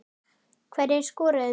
Hverjir skoruðu mörkin?